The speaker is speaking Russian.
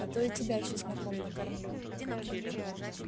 а то и тебя чесноком накормлю